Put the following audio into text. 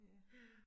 Ja